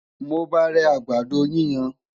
mo bá rè àgbàdo yíyan